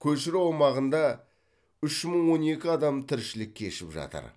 көшіру аумағында үш мың он екі адам тіршілік кешіп жатыр